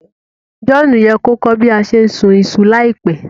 John ye ko kọ́ bi a se n sùn isu láìpẹ́